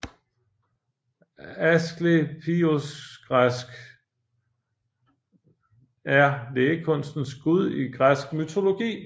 Asklepiosgræsk Ἀσκληπιός er lægekunstens gud i græsk mytologi